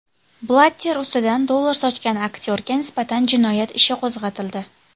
Blatter ustidan dollar sochgan aktyorga nisbatan jinoyat ishi qo‘zg‘atildi.